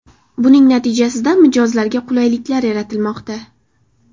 Buning natijasida mijozlarga qulayliklar yaratilmoqda.